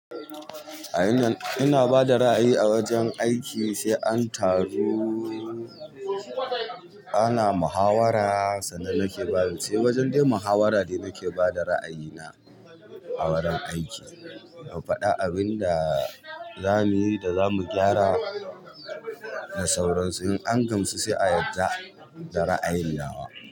A ina ina bada ra'ayi a wajen aiki sai an taru ana muhawara sannan nake ba sai wajen dai muhawara de nake bada ra'ayina a wurin aiki, mu faɗa abinda zamuyi da zamu gyara da sauran su, in an gamsu sai a yadda da ra'ayun nawa.